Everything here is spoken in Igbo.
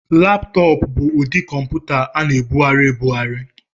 Laptọọpụ bụ ụdị kọmputa a na-ebugharị ebugharị.